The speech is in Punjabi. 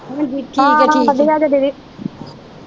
ਹਾਂ ਹਾਂ ਵਧੀਆ ਜੇ ਦੀਦੀ।